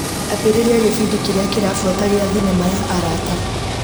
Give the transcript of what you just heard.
Ambĩrĩria gĩbindi kĩrĩa kĩrabuata gia thinema ya arata.